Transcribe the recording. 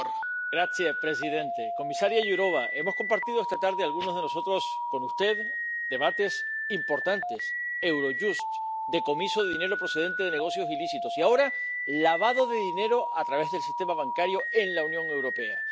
Señor presidente, señora comisaria Jourová, hemos compartido esta tarde algunos de nosotros con usted debates importantes Eurojust, decomiso de dinero procedente de negocios ilícitos y, ahora, lavado de dinero a través del sistema bancario en la Unión Europea.